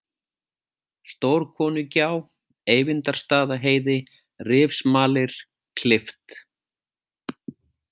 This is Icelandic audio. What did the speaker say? Stórkonugjá, Eyvindarstaðaheiði, Rifsmalir, Klift